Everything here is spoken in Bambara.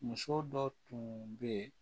Muso dɔ tun bɛ yen